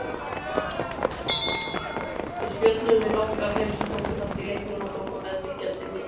Við spjölluðum við nokkra af þeim sem tóku þátt í leiknum og tókum meðfylgjandi myndir.